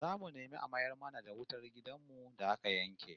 Zamu nemi a mayar mana da wutar gidan mu da aka yanke